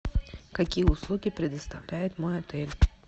какие услуги предоставляет мой отель